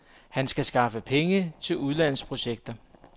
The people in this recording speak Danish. Han skal skaffe penge til udlandsprojekter.